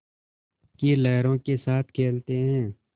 की लहरों के साथ खेलते हैं